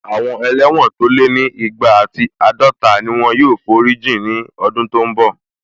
Àwọn ẹlẹ́wọ̀n tó lé ní igba ati àádọta ni wọ́n yóò forí jìn ní ọdún tó n bọ̀